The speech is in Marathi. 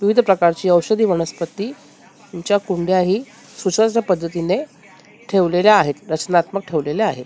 विविध प्रकारची औषधी वनस्पती यांच्या कोंड्याही सुसज्ज पद्धतीने ठेवलेल्या आहेत रचनात्मक ठेवलेले आहेत .